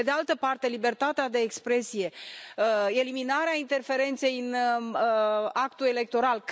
Pe de altă parte, libertatea de exprimare, eliminarea interferenței în actul electoral.